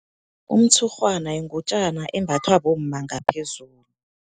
Umtshurhwana yingutjana embathwa bomma ngaphezulu.